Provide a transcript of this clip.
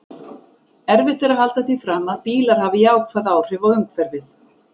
Erfitt er að halda því fram að bílar hafi jákvæð áhrif á umhverfið.